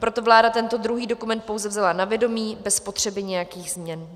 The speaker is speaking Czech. Proto vláda tento druhý dokument pouze vzala na vědomí bez potřeby nějakých změn.